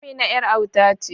Amina yar auta ce.